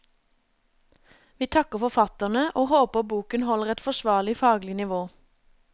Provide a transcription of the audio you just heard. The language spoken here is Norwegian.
Vi takker forfatterne og håper boken holder et forsvarlig faglig nivå.